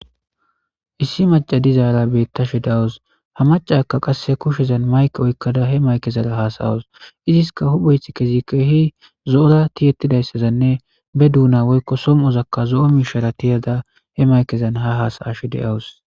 Issi macca iza be'ettishe de'awus, ha maccekka qassi kushiyazan mayke oyqqada, he maykezan haasayawusu. Iziska huphphay keehi zo'a tiyettidayssanne, ba dona woyko somozakka tiyada he maykezan haasayashe de'awus.